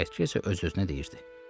Çəyirtkə isə öz-özünə deyirdi: